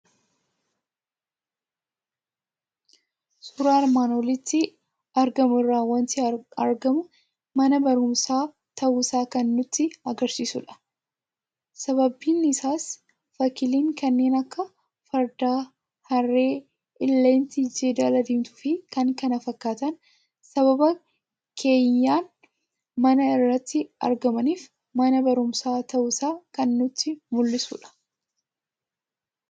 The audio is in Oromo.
Suuraa armaan olitti argamu irraa waanti argamu; mana barumsaa ta'uusaa kan nutti agarsiisudha. Sababni isaas fakkiileen kanneen akka Fardaa, Harree, Ileettii, Jeedala diimtuufi kan kana fakkaatan sababa keeyyan manaa irratti argamaniif mana barumsaa ta'uusaa kan nutti mul'isudha.